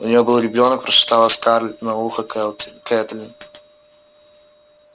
у нее был ребёнок прошептала скарлетт на ухо кэтлин